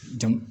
Jan